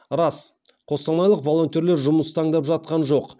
рас қостанайлық волонтерлер жұмыс таңдап жатқан жоқ